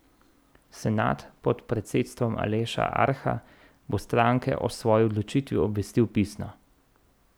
Senat pod predsedstvom Aleša Arha bo stranke o svoji odločitvi obvestil pisno.